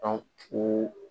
o